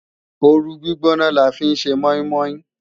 Ooru gbígbóná la fi ń ṣe mọ́ínmọ́ín